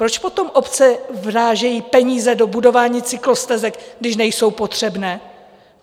Proč potom obce vrážejí peníze do budování cyklostezek, když nejsou potřebné?